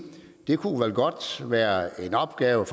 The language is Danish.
kunne være en opgave